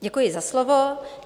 Děkuji za slovo.